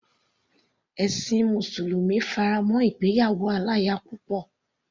Ẹ̀sin mùsùlùmí fará mọ́ ìgbéyàwó aláya púpọ̀.